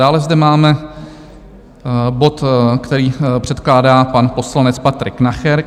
Dále zde máme bod, který předkládá pan poslanec Patrik Nacher.